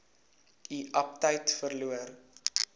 u aptyt verloor